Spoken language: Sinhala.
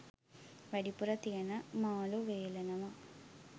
වැඩිපුර තියන මාලූ වේළනවා